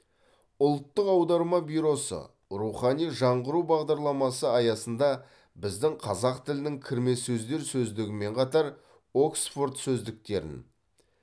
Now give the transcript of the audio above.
ұлттық аударма бюросы рухани жаңғыру бағдарламасы аясында біздің қазақ тілінің кірме сөздер сөздігімен қатар оксфорд сөздіктерін